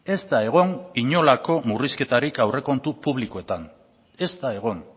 ez da egon inolako murrizketarik aurrekontu publikoetan ez da egon